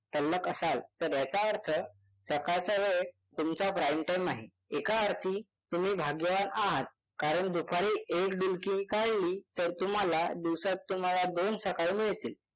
तल्लख असाल तर याचा अर्थ सकाळचा वेळ तुमचा prime time आहे. एका अर्थी तुम्ही भाग्यवान आहात कारण दुपारी तुम्ही एक डुलकी काढली तर तुम्हाला दिवसात तुम्हाला दोन सकाळ मिळतील.